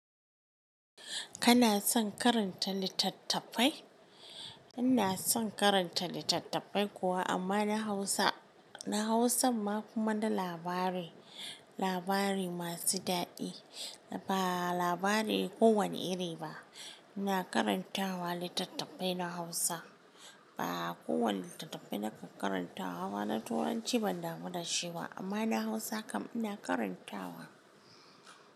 Kana son karanta littattafai? Ina son karanta littattafai kuwa amma na Hausa, na Hausan ma kuma na labari, labari masu daɗi. Ba labari kowane iri ba. Ina karantawa littattafai na Hausa. Ba kowane littattafai na ka karantawa ba na Turanci ban damu da shi ba amma na Hausa kam ina karantawa.